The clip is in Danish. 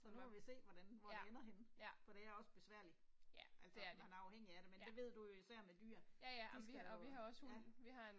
Så nu må vi se hvordan, hvor det ender henne. For det er også besværligt. Altså man er afhængig af det, men det ved du jo især med dyr, de skal jo, ja